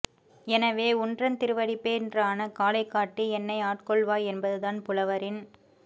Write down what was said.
எனவே உன்றன் திருவடிப்பேறான காலைக் காட்டி என்னை ஆட்கொள்வாய் என்பதுதான் புலவரின்